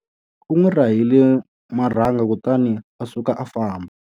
U n'wi rahile marhanga kutani a suka a famba.